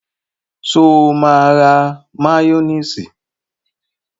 Sọ ma ra máyónísì?